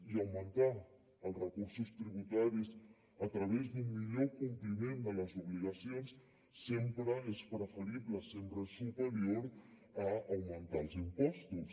i augmentar els recursos tributaris a través d’un millor compliment de les obligacions sempre és preferible sempre és superior a augmentar els impostos